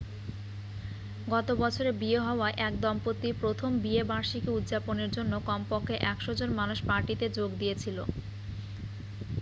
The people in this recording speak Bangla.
গত বছরে বিয়ে হওয়া এক দম্পতির প্রথম বিয়ে বার্ষিকী উদযাপনের জন্য কম পক্ষে 100 জন মানুষ পার্টিতে যোগ দিয়েছিল